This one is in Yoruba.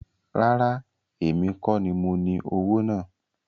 Rárá, èmi kọ́ ní mo ní owó náà